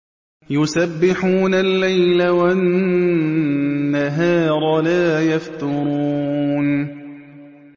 يُسَبِّحُونَ اللَّيْلَ وَالنَّهَارَ لَا يَفْتُرُونَ